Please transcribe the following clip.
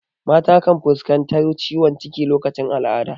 Mata kan fuskantar ciwon ciki lokacin al'ada.